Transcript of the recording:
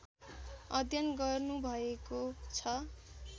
अध्ययन गर्नुभएको छ